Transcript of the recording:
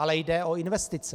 Ale jde o investice.